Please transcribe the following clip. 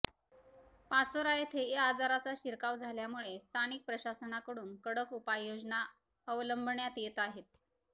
पाचोरा येथे या आजाराचा शिरकाव झाल्यामुळे स्थानिक प्रशासनाकडून कडक उपायोजना अवलंबण्यात येत आहेत